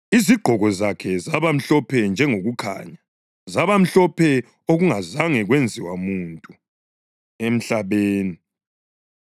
Izigqoko zakhe zaba mhlophe njengokukhanya, zaba mhlophe okungazake kwenziwe muntu emhlabeni.